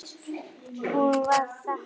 Hún var þakklát fyrir það.